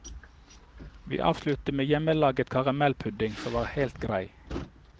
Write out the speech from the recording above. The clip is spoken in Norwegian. Vi avsluttet med hjemmelaget karamellpudding, som var helt grei.